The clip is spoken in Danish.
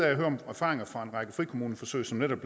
at høre om erfaringer fra en række frikommuneforsøg som netop